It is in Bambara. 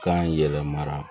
Kan yɛlɛmana